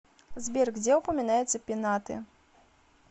сбер где упоминается пенаты